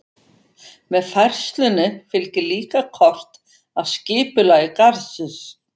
Með færslunni fylgir líka kort af skipulagi garðsins.